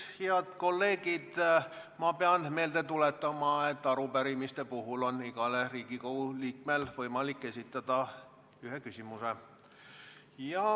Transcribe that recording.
Head kolleegid, ma pean meelde tuletama, et arupärimise puhul on igal Riigikogu liikmel võimalik esitada üks küsimus.